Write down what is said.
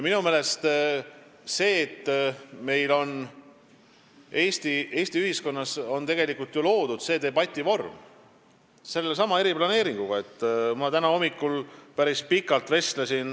Minu meelest on hea see, et meil Eesti ühiskonnas on sellesama eriplaneeringuga loodud selline debativorm.